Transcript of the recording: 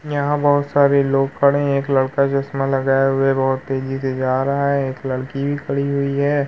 यहाँ बोहोत सारे लोग खड़े हैं। एक लड़का चश्मा लगाया हुआ है बोहोत तेजी से जा रहा है। एक लड़की भी खड़ी हुई है।